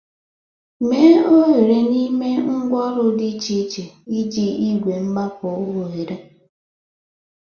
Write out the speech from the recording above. Mee oghere n'ime ngwa oru dị iche iche iji igwe mgbapu ohere.